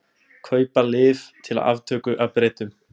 Kaupa lyf til aftöku af Bretum